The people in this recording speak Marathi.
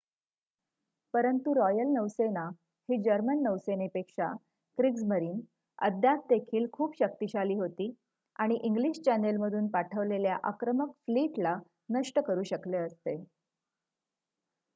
"परंतु रॉयल नौसेना ही जर्मन नौसेनेपेक्षा "क्रिग्जमरीन" अद्याप देखील खूप शक्तिशाली होती आणि इंग्लिश चॅनेलमधून पाठवलेल्या आक्रमक फ्लीटला नष्ट करू शकले असते.